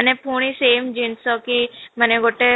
ମାନେ ପୁଣି same ଜିନିଷ କି ମାନେ ଗୋଟେ